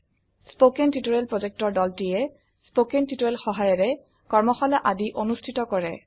কথন শিক্ষণ প্ৰকল্পৰ দলটিয়ে কথন শিক্ষণ সহায়িকাৰে কৰ্মশালা আদি অনুষ্ঠিত কৰে